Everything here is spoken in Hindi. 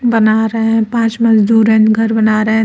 बना रहे हैं पांच मजदूर एंड घर बना रहे हैं।